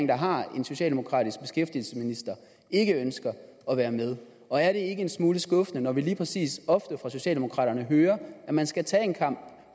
der har en socialdemokratisk beskæftigelsesminister ikke ønskede at være med og er det ikke en smule skuffende når vi lige præcis socialdemokraterne hører at man skal tage den kamp